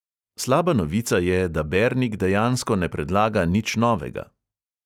Slaba novica je, da bernik dejansko ne predlaga nič novega.